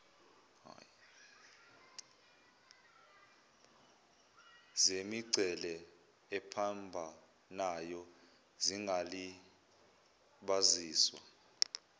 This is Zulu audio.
zemingcele ephambanayo zingalibaziswa